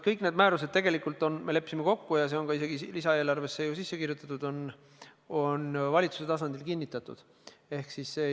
Kõik määrused tegelikult on – see on isegi lisaeelarvesse sisse kirjutatud – valitsuse tasandil kinnitatud.